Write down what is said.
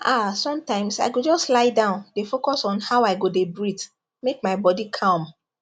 ah sometimes i go just dey lie down dey focus on how i go dey breathe make my body calm